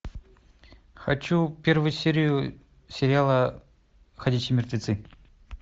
хочу первую серию сериала ходячие мертвецы